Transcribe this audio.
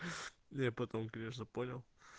я потом конечно понял